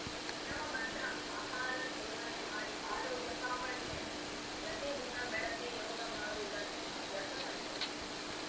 ನಿಯಮ ಬದ್ಧ ಆಹಾರ ಸೇವನೆ ಮಾಡಿ ಆರೋಗ್ಯ ಕಾಪಾಡಿಕೊಳ್ಳಿ ಪ್ರತಿದಿನ ಬೆಳಗ್ಗೆ ಯೋಗ ಮಾಡುವುದನ್ನು ಅಭ್ಯಾಸ ಮಾಡಿಕೊಳ್ಳಿ